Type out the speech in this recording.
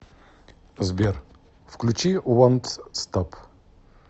сбер включи вонт стоп